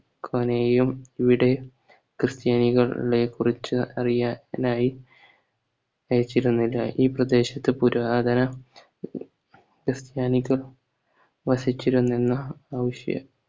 ഇവിടെ ക്രിസ്ത്യാനികളെ കുറിച്ച് അറിയാനായി അയച്ചിരുന്നില്ല ഈ പ്രദേശത്ത് പുരാതന ക്രിസ്ത്യാനികൾ വസിച്ചിരുന്നെന്ന ആവിശ്യ